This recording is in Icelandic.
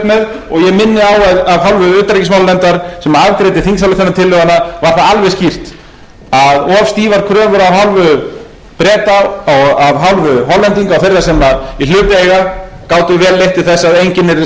með og ég minni á að af hálfu utanríkismálanefndar sem afgreiddi þingsályktunartillöguna var það alveg skýrt að of stífar kröfur af hálfu breta og af hálfu hollendinga og þeirra sem í hlut eiga gátu vel leitt til þess að enginn yrði